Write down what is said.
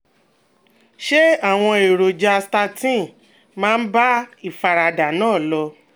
Ṣé àwọn èròjà statin máa ń bá ìfaradà náà lò?